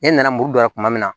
Ne nana muru dɔ ye tuma min na